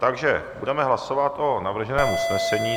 Takže budeme hlasovat o navrženém usnesení.